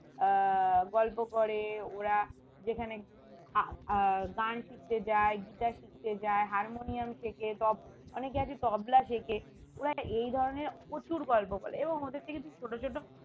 আহ গল্প করে ওরা যেখানে আহ গান শিখতে যায় guitar শিখতে যায় hermonium শেখে তব~ অনেকে আছে তবলা শেখে ওরা এইধরণের প্রচুর গল্প বলে এবং ওদের থেকে তুই ছোট ছোট